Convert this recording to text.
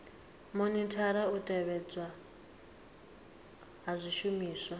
monithara u tevhedzelwa ha zwishumiswa